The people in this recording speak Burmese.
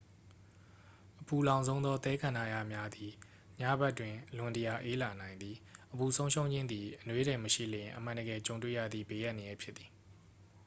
အပူလောင်ဆုံးသော သဲကန္တရများသည် ညဘက်တွင် အလွန်တရာ အေးလာနိုင်သည် အပူဆုံးရှုံးခြင်းသည် အနွေးထည်မရှိလျှင် အမှန်တကယ်ကြုံတွေ့ရသည့် ဘေးအန္တရာယ်ဖြစ်သည်